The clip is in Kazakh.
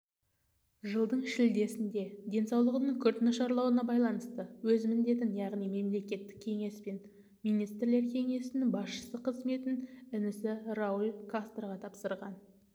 жылдың шілдесінде денсаулығының күрт нашарлауына байланысты өз міндетін яғни мемлекеттік кеңес пен министрлер кеңесінің басшысы қызметін інісі рауль кастроға тапсырған